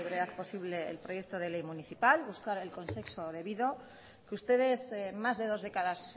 brevedad posible el proyecto de ley municipal buscar el consenso debido que ustedes más de dos décadas